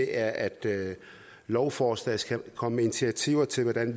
er at med lovforslaget skal man komme med initiativer til at